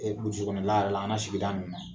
burusi kɔnɔ la yɛrɛ an la sigida nun na